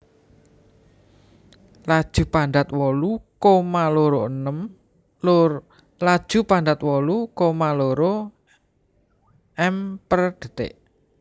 Laju Panjat wolu koma loro m per detik